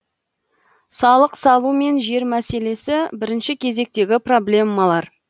салық салу мен жер мәселесі бірінші кезектегі проблемалар